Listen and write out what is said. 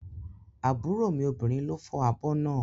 Àbúrò mi obìnrin ló fọ́ abọ́ náà